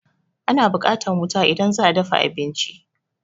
Ana buƙatan wuta idan za'a dafa abinci